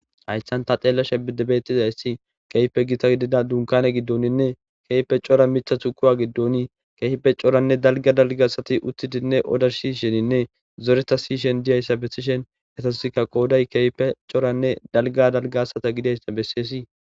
hayssan ta xeellashe bettizayssi kehipe gita gidida dunkane giddoninne kehipe cora mithatu kuwa giddoni keefpe coranne dalga dalgaasati uttidinne odar shisheninne zoreta shiyishen diyayssa bessishen etasikka qooday kehipe coranne dalga dalga asata gidayssa besseesii